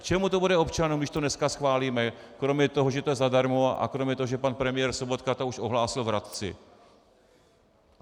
K čemu to bude občanům, když to dneska schválíme, kromě toho, že je to zadarmo, a kromě toho, že pan premiér Sobotka to už ohlásil v Hradci.